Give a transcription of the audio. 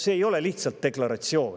See ei ole lihtsalt deklaratsioon.